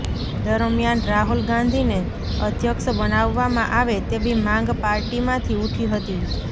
દરમિયાન રાહુલ ગાંધીને અધ્યક્ષ બનાવવામાં આવે તેવી માંગ પાર્ટીમાંથી ઉઠી હતી